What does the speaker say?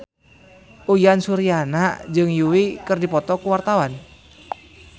Uyan Suryana jeung Yui keur dipoto ku wartawan